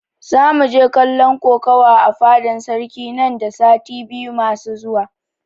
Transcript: Zamu je kallon kokuwa a fadan sarki nan da sati biyu masu zuwa